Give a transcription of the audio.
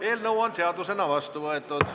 Eelnõu on seadusena vastu võetud.